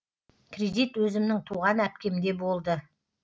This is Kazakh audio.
кредит өзімнің туған әпкемде болды